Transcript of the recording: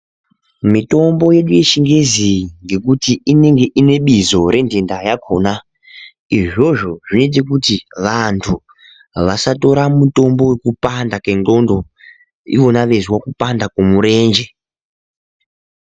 Mitombo yedu yechingezi iyi ngekuti inenge inebizo redhenda rakona izvozvo zvinoite kuti vandu vasatora mutombo wekupanda kengqondo ivona veyizwe kupanda kwomurenje.